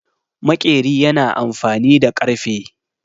Maƙeri yana amfani da ƙarfe.